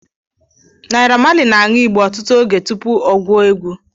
Naira Marley na-añu igbó ọtụtụ oge tupu ọ guo egwu